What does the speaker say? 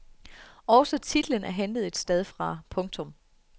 Også titlen er hentet et sted fra. punktum